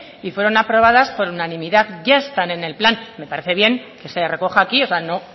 y fueron aprobadas por unanimidad ya están en el plan me parece bien que se recoja aquí o sea